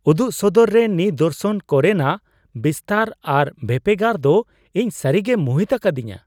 ᱩᱫᱩᱜ ᱥᱚᱫᱚᱨ ᱨᱮ ᱱᱤᱫᱚᱨᱥᱚᱱ ᱠᱚᱨᱮᱱᱟᱜ ᱵᱤᱥᱛᱟᱹᱨ ᱟᱨ ᱵᱷᱮᱯᱮᱜᱟᱨ ᱫᱚ ᱤᱧ ᱥᱟᱹᱨᱤᱜᱮᱭ ᱢᱩᱦᱤᱛ ᱟᱠᱟᱫᱤᱧᱟ ᱾